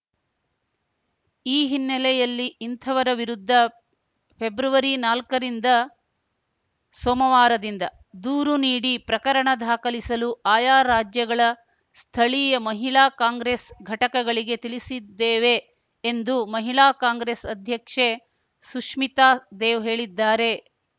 ಈ ಹ್ನಿನೆಲೆಯಲ್ಲಿ ಇಂಥವರ ವಿರುದ್ಧ ಫೆಬ್ರವರಿನಾಲ್ಕರಿಂದ ಸೋಮವಾರದಿಂದ ದೂರು ನೀಡಿ ಪ್ರಕರಣ ದಾಖಲಿಸಲು ಆಯಾ ರಾಜ್ಯಗಳ ಸ್ಥಳೀಯ ಮಹಿಳಾ ಕಾಂಗ್ರೆಸ್‌ ಘಟಕಗಳಿಗೆ ತಿಳಿಸಿದ್ದೇವೆ ಎಂದು ಮಹಿಳಾ ಕಾಂಗ್ರೆಸ್‌ ಅಧ್ಯಕ್ಷೆ ಸುಷ್ಮಿತಾ ದೇವ್‌ ಹೇಳಿದ್ದಾರೆ